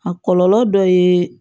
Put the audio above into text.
A kɔlɔlɔ dɔ ye